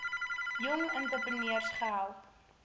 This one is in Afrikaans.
jong entrepreneurs gehelp